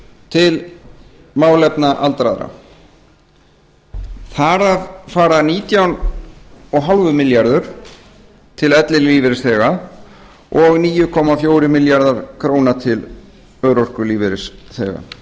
til málefna aldraðra þar af fara nítján komma fimm milljaðrur til ellilífeyrisþega og níu komma fjórir milljarðar króna til örorkulífeyrisþega